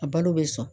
A balo bɛ sɔn